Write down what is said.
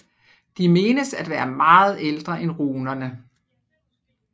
De menes at være meget ældre end runerne